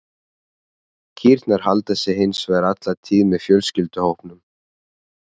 Kýrnar halda sig hins vegar alla tíð með fjölskylduhópnum.